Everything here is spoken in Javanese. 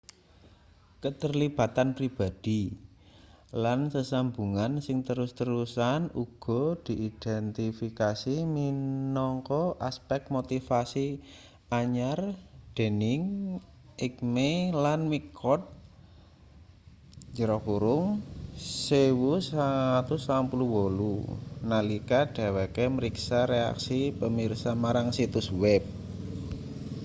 keterlibatan pribadhi” lan sesambungan sing terus-terusan” uga diidentifikasi minangka aspek motivasi anyar dening eighmey lan mccord 1998 nalika dheweke mriksa reaksi pemirsa marang situs web